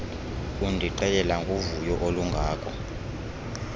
undixelela ngovuyo olungako